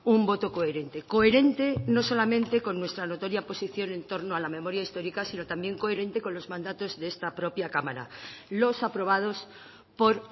un voto coherente coherente no solamente con nuestra notoria posición en torno a la memoria histórica si no también coherente con los mandatos de esta propia cámara los aprobados por